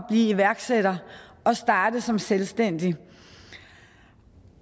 iværksætter og starte som selvstændig og